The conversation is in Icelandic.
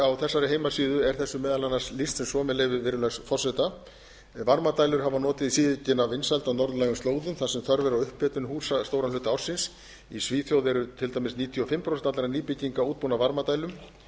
á þessari heimasíðu er þessu meðal annars lýst sem svo með leyfi virðulegs forseta varmadælur hafa notið síaukinna vinsælda á norðlægum slóðum þar sem þörf er á upphitun húsa stóran hluta ársins í svíþjóð eru til dæmis níutíu og fimm prósent allra nýbygginga útbúnar varmadælum